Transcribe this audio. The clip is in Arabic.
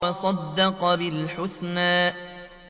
وَصَدَّقَ بِالْحُسْنَىٰ